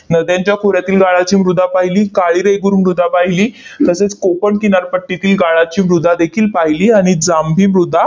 नद्यांच्या खोऱ्यातील गाळाची मृदा पाहिली, काळी रेगूर मृदा पाहिली, तसेच कोकण किनारपट्टीतील गाळाची मृदा देखील पाहिली, आणि जांभी मृदा